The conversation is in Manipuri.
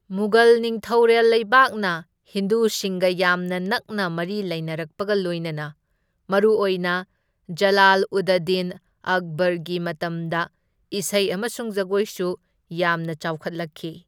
ꯃꯨꯘꯜ ꯅꯤꯡꯊꯧꯔꯦꯜ ꯂꯩꯕꯥꯛꯅ ꯍꯤꯟꯗꯨꯁꯤꯡꯒ ꯌꯥꯝꯅ ꯅꯛꯅ ꯃꯔꯤ ꯂꯩꯅꯔꯛꯄꯒ ꯂꯣꯏꯅꯅ ꯃꯔꯨꯑꯣꯏꯅ ꯖꯂꯥꯜ ꯎꯗ ꯗꯤꯟ ꯑꯛꯕꯔꯒꯤ ꯃꯇꯝꯗ ꯏꯁꯩ ꯑꯃꯁꯨꯡ ꯖꯒꯣꯏꯁꯨ ꯌꯥꯝꯅ ꯆꯥꯎꯈꯠꯂꯛꯈꯤ꯫